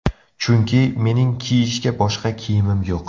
Chunki, mening kiyishga boshqa kiyimim yo‘q.